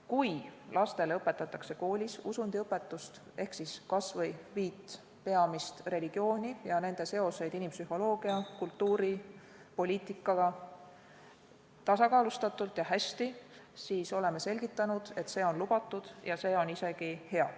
Kui lastele õpetatakse koolis usundiõpetust ehk kas või viit peamist religiooni ja nende seoseid inimpsühholoogia, kultuuri, poliitikaga tasakaalustatult ja hästi, siis oleme selgitanud, et see on lubatud ja see on isegi hea.